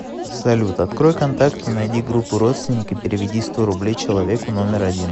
салют открой контакты найди группу родственники переведи сто рублей человеку номер один